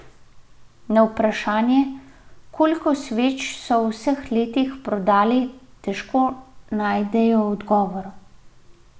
Na vprašanje, koliko sveč so v vseh letih prodali, težko najdejo odgovor.